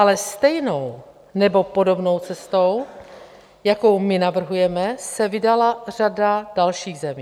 Ale stejnou nebo podobnou cestou, jakou my navrhujeme, se vydala řada dalších zemí.